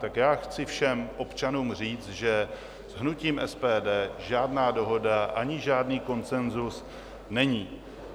Tak já chci všem občanům říct, že s hnutím SPD žádná dohoda ani žádný konsenzus není.